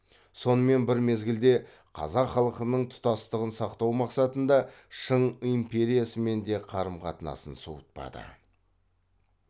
сонымен бір мезгілде қазақ халқының тұтастығын сақтау мақсатында шың империясымен де қарым қатынасын суытпады